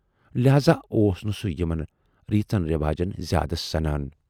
لٮ۪ہذا اوس نہٕ سُہ یِمن ریٖژن رٮ۪واجَن زیادٕ سَنان۔